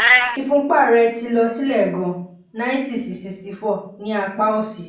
ìfúnpá rẹ̀ ti lọ sílẹ̀ gan-an ninety sí sixty four ní apá òsì